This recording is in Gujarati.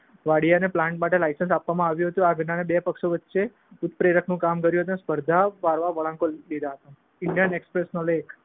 વઢિયાને પ્લાન્ટ માટે લાયસન્સ આપવમાં આવ્યું હતું. આ ઘટનાને બે પક્ષો વચ્ચે ઉપપ્રેરકનું કામ કર્યું સ્પર્ધા પારવા હતા. ઈન્ડયન એક્સપ્રેક્સનો લેખ